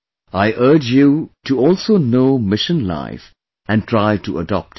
I urge you to also know Mission Life and try to adopt it